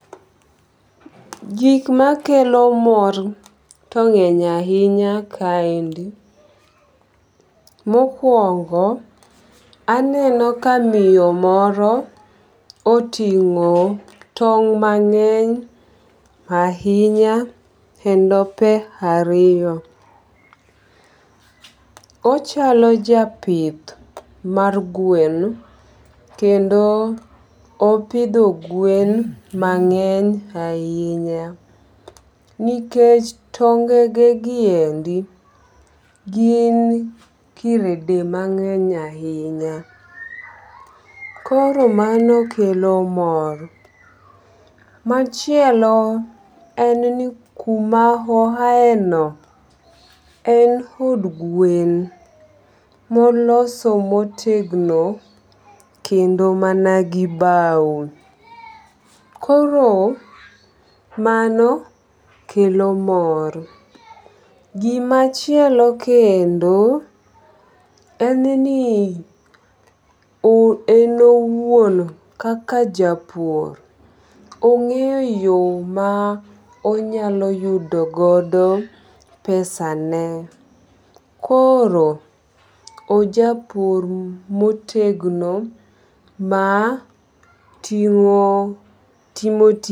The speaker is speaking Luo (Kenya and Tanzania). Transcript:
Gikmakelo mor tong'eny ahinya kaendi. Mokwongo, aneno ka miyo moro oting'o tong' mang'eny ahinya e ndope ariyo. Ochalo japith mar gwen kendo opidho gwen mang'eny ahinya nikech tongegegiendi gin krede mang'eny ahinya koro manokelo mor. Machielo en ni kuma ohaeno en hod gwen moloso motegno kendo managi bao. Koro mano kelo mor. Gimachielo kendo en ni en owuon kaka japur ong'eyo yo ma onyalo yudogodo pesa ne, koro ojapur motegno matimo tich..